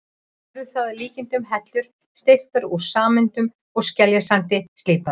Verður það að líkindum hellur steyptar úr sementi og skeljasandi, slípaðar.